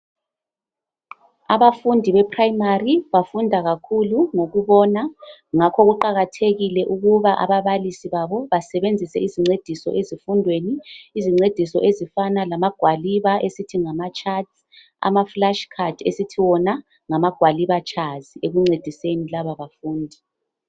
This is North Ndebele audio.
Abafundi be primary bafunda kakhulu ngokubona ngakho kuqakathekile ukuba ababalisi babo basebenzise izincediso ezifundweni, izincediso ezifana lama gwaliba esithi ngamatshathi, ama flash card esithi wona ngamagwaliba tshazi ekuncediseni laba bafundi.